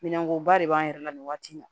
Minɛnko ba de b'an yɛrɛ la nin waati in na